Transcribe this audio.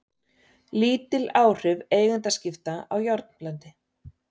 Lítil áhrif eigendaskipta á járnblendi